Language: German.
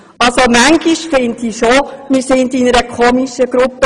Manchmal habe ich schon den Eindruck, wir seien hier eine seltsame Truppe.